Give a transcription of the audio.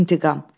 İntiqam.